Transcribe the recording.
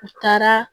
U taara